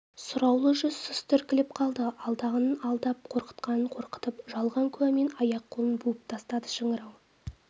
сұраулы жүз сұсты іркіліп қалды алдағанын алдап қорқытқанын қорқытып жалған куәмен аяқ-қолын буып тастады шыңырау